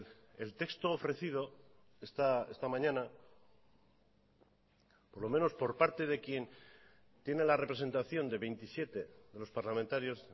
el texto ofrecido esta mañana por lo menos por parte de quien tiene la representación de veintisiete de los parlamentarios